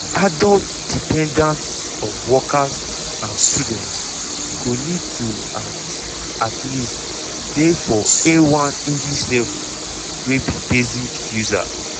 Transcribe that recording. adult dependants of workers and students go need to at at least dey for a1 english level wey be basic user.